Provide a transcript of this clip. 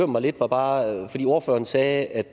mig lidt var bare at ordføreren sagde at